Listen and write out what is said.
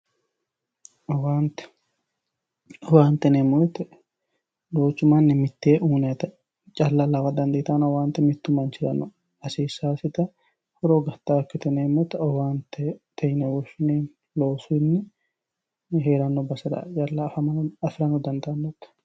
Owaante, owaante yineemmo woyte duuchu manni mite uuyinannitta lawansara dandaanonna owaante mitu manchira hasiisanositta horo uyittanotta owaantete yinne woshshineemmo mannu heerano basera afira dandaanote.